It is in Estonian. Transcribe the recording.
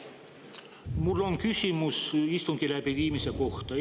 Mul on küsimus istungi läbiviimise kohta.